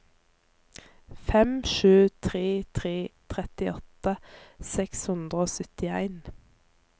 fem sju tre tre trettiåtte seks hundre og syttien